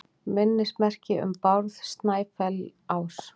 Minnismerki um Bárð Snæfellsás.